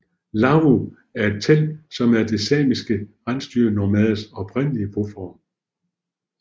Lavvu er et telt som er de samiske rensdyrnomaders oprindelige boform